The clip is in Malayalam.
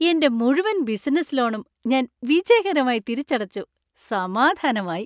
എന്‍റെ മുഴുവൻ ബിസിനസ്സ് ലോണും ഞാൻ വിജയകരമായി തിരിച്ചടച്ചു, സമാധാനമായി.